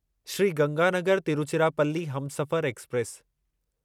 Shri Ganganagar Tiruchirappalli Humsafar express